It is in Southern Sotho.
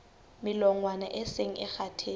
melongwana e seng e kgathetse